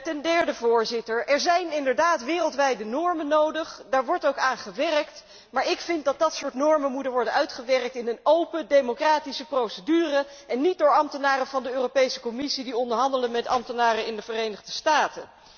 Ten derde zijn er inderdaad wereldwijde normen nodig. Daar wordt ook aan gewerkt, maar dergelijke normen moeten worden uitgewerkt in een open democratische procedure en niet door ambtenaren van de Europese Commissie die onderhandelen met ambtenaren in de Verenigde Staten.